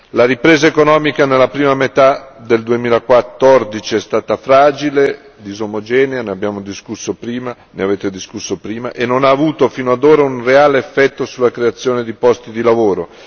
La ripresa economica nella prima metà del 2014 è stata fragile, disomogenea ne abbiamo discusso prima, ne avete discusso prima e non ha avuto fino ad ora un reale effetto sulla creazione di posti di lavoro.